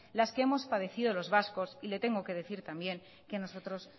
las que hemos padecido los vascos y le tengo que decir también que nosotros